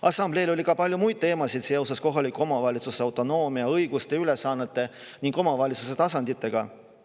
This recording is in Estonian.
Assambleel oli ka palju muid teemasid seoses kohaliku omavalitsuse autonoomia, õiguste ja ülesannetega ning omavalitsuse tasanditega.